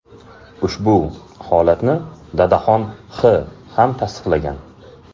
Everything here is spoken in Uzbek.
Ushbu holatni Dadaxon X. ham tasdiqlagan.